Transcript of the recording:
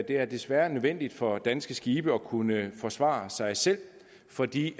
er desværre nødvendigt for danske skibe at kunne forsvare sig selv fordi